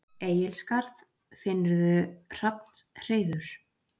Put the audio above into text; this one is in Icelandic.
Egilsskarð, finnurðu hrafnshreiður.